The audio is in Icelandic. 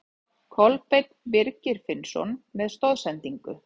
Kolbeinn Birgir Finnsson með stoðsendingu.